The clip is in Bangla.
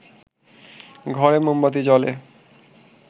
ঘরে মোমবাতি জ্বলে